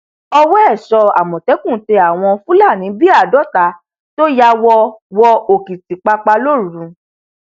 ọwọ èso àmọtẹkùn tẹ àwọn fúlàní bíi àádọta tó ya wọ wọ òkìtìpápá lóru